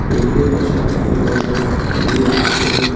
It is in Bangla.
টেবিলের পাশে অনেকগুলি বসার টুল আছে।